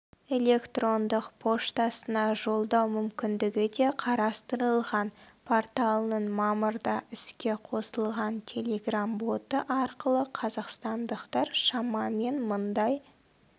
электрондық поштасына жолдау мүмкіндігі де қарастырылған порталының мамырда іске қосылған телеграм-боты арқылы қазақстандықтар шамамен мыңдай